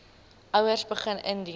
ouers begin indien